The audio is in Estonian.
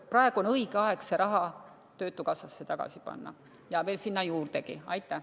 Praegu on õige aeg see raha töötukassasse tagasi ja veel sinna juurdegi panna.